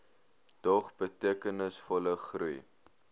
dog betekenisvolle groei